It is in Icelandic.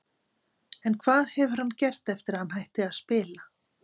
En hvað hefur hann gert eftir að hann hætti að spila?